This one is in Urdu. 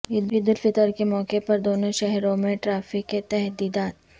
عیدالفطر کے موقع پر دونوں شہروں میں ٹریفک تحدیدات